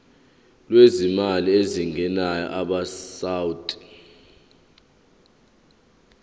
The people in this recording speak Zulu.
lwezimali ezingenayo abesouth